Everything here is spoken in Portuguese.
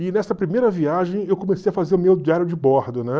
E nessa primeira viagem eu comecei a fazer o meu diário de bordo, né?